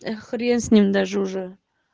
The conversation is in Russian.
хрен с ним даже уже